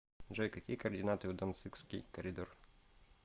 джой какие координаты у данцигский коридор